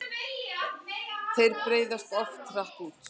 Þeir breiðast oft hratt út.